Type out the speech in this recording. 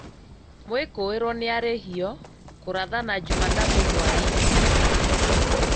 mwĩkũĩrwo nĩarihio kũrathana jumatatũ whainĩ